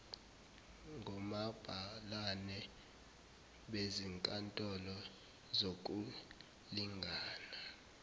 ngomabhalane bezinkantolo zokulingana